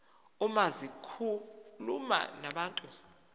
uma zikhuluma nabantu